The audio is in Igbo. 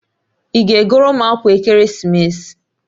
Ị ga-egoro m akwa ekeresimesi?